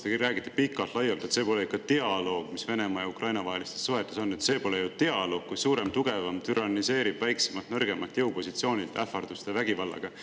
Te siin räägite pikalt-laialt, et see pole ikka dialoog, mis Venemaa ja Ukraina vahelistes suhetes on, et see pole ju dialoog, kui suurem ja tugevam türanniseerib väiksemat ja nõrgemat jõupositsioonilt ähvarduste ja vägivallaga.